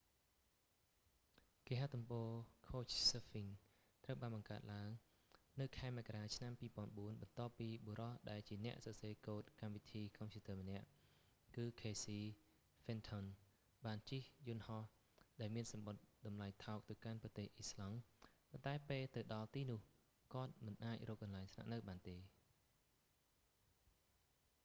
គេហទំព័រ couchsurfing ត្រូវបានបង្កើតឡើង នៅខែមករា ឆ្នាំ 2004 បន្ទាប់ពីបុរសដែលជាអ្នកសរសេរកូដកម្មវិធីកុំព្យូទ័រម្នាក់ គឺ ខេស៊ី ហ្វិនថុន casey fenton បានជិះយន្តហោះ ដែលមានសំបុត្រតម្លៃថោកទៅកាន់ប្រទេស អ៊ីស្លង់ ប៉ុន្តែពេលទៅដល់ទីនោះ គាត់មិនអាចរកកន្លែងស្នាក់នៅបាន